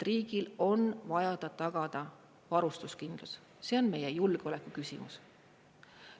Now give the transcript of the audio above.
Riigil on vaja tagada varustuskindlus, see on meie julgeoleku küsimus.